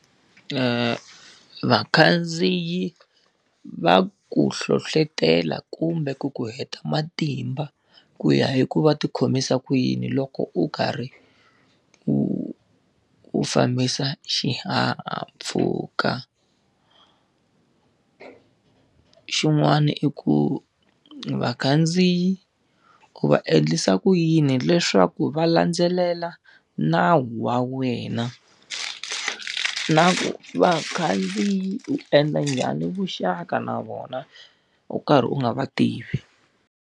Vakhandziyi va ku hlohletela kumbe ku ku heta matimba ku ya i ku va ti khomisa ku yini loko u karhi u u fambisa xihahampfhuka? Xin'wana i ku vakhandziyi, u va endlisa ku yini leswaku va landzelela nawu wa wena? Na ku vakhandziyi u endla njhani vuxaka na vona u karhi u nga va tivi?